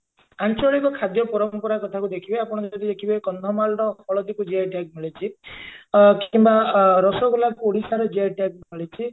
ଆଞ୍ଚଳିକ ଖାଦ୍ୟ ପରମ୍ପରା କଥାକୁ ଦେଖିବେ ଆପଣ ଯଦି ଦେଖିବେ କନ୍ଧମାଳ ହଳଦୀକୁ GI tag ମିଳିଛି ଅ କିମ୍ବା ଅ ରସଗୋଲାକୁ ଓଡିଶାରେ GI tag ମିଳିଛି